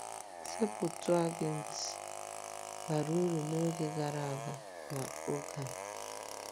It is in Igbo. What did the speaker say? “Septụaginti”—bara uru n’oge gara aga na n’oge a.